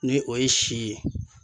Ni o ye si ye.